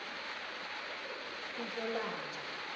kunhlolanja